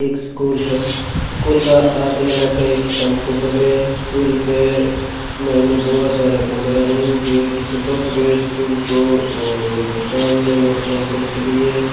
इक स्कूल है स्कूल का अगले नाके एक टम्पो खड़ो है स्कूल के मायने भोळा सारा कमरा है गेट खुल्लो पडो स्कूल को और सामने मोटरसाइकिल खडी है।